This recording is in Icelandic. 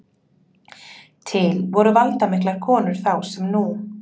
Til voru valdamiklar konur þá sem nú.